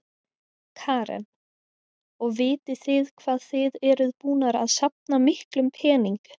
Karen: Og vitið þið hvað þið eruð búnar að safna miklum pening?